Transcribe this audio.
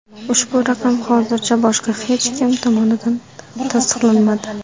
Ushbu raqam hozircha boshqa hech kim tomonidan tasdiqlanmadi.